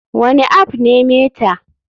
Wane app ne meta?